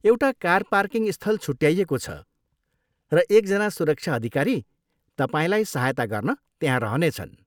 एउटा car parking स्थल छुट्याइएको छ, र एकजना सुरक्षा अधिकारी तपाईँलाई सहायता गर्न त्यहाँ रहनेछन्।